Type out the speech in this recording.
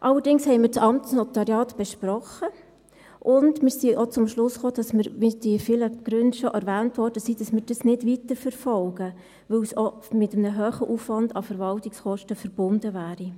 Allerdings haben wir das Amtsnotariat besprochen und sind auch zum Schluss gekommen – die vielen Gründe wurden schon erwähnt –, dass wir dies nicht weiterverfolgen, weil es auch mit einem hohen Aufwand an Verwaltungskosten verbunden wäre.